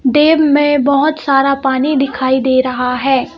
Dam में बहुत सारा पानी दिखाई दे रहा है।